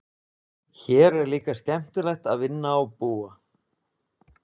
Hér er líka skemmtilegt að vinna og búa.